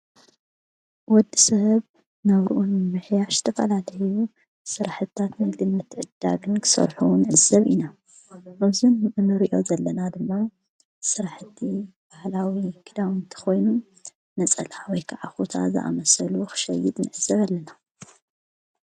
ወዲ ሰብ ናብርኡንምሕያሽ ተፋላለዩ ስራሕታት ንግዲ ምትዕድዳግን ክሰልሑ ንዕዘብ ኢና፡፡ እዚ ንርእዮ ዘለና ድማ ስራሕቲ ባህላዊ ክዳውንቲ ኾይኑ ነፀላ ወይ ከዓ ኹታ ዝኣመሰሉ ኽሸይድ ንዕዘብ ኣለና፡፡